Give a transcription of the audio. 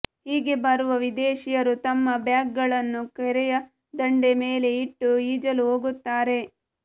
ಹೀಗೆ ಬರುವ ವಿದೇಶಿಯರು ತಮ್ಮ ಬ್ಯಾಗ್ಗಳನ್ನು ಕೆರೆಯ ದಂಡೆ ಮೇಲೆ ಇಟ್ಟು ಈಜಲು ಹೊಗುತ್ತಾರೆ